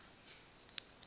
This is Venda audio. solomoni